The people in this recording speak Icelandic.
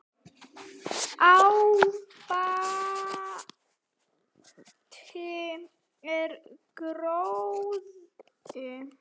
Ábati er gróði.